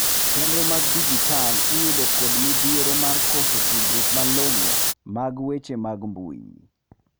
chenro mag dijital iyudo kod modhiero mar koso tudruok malongo mag weche mag mbui